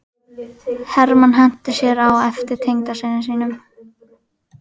Hermann henti sér á eftir tengdasyni sínum.